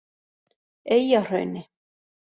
Eyjahrauni